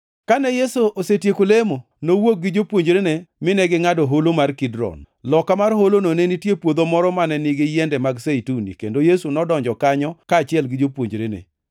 Kane Yesu osetieko lemo, nowuok gi jopuonjrene, mine gingʼado holo mar Kidron. Loka mar holono ne nitie puodho moro mane nigi yiende mag Zeituni, kendo Yesu nodonjo kanyo kaachiel gi jopuonjrene.